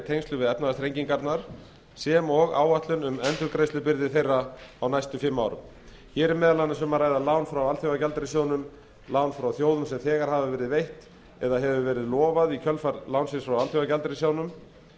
tengslum við efnahagsþrengingarnar sem og áætlun um endurgreiðslubyrði þeirra á næstu fimm árum hér er meðal annars um að ræða lán frá alþjóðagjaldeyrissjóðnum lán frá þjóðum sem þegar hafa verið veitt eða hefur verið lofað í kjölfar lánsins frá alþjóðagjaldeyrissjóðnum